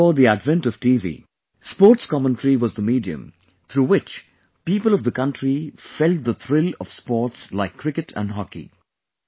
Long before the advent of TV, sports commentary was the medium through which people of the country felt the thrill of sports like cricket and hockey